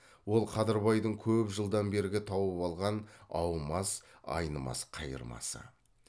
ол қадырбайдың көп жылдан бергі тауып алған аумас айнымас қайырмасы